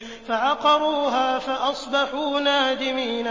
فَعَقَرُوهَا فَأَصْبَحُوا نَادِمِينَ